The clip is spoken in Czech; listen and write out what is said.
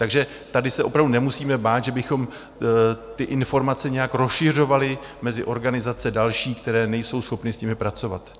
Takže tady se opravdu nemusíme bát, že bychom ty informace nějak rozšiřovali mezi organizace další, které nejsou schopny s nimi pracovat.